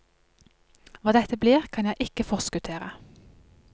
Hva dette blir, kan jeg ikke forskuttere.